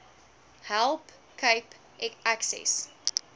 help cape access